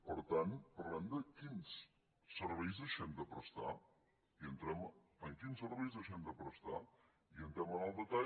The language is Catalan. per tant parlem de quins serveis deixem de prestar i entrem en quins serveis deixem de prestar i entrem en el detall